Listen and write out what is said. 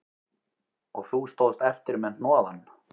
Og þú stóðst eftir með hnoðann